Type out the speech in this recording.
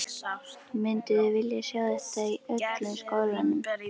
Mynduð þið vilja sjá þetta í öllum skólanum?